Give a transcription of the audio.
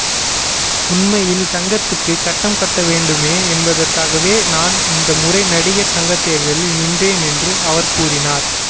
உண்மையில் சங்கத்துக்கு கட்டடம் கட்ட வேண்டுமே என்பதற்காகவே நான் இந்த முறை நடிகர் சங்கத்தேர்தலில் நின்றேன் என்றும் அவர் கூறினார்